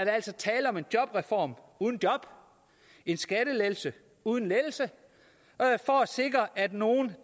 altså tale om en jobreform uden job en skattelettelse uden lettelse for at sikre nogle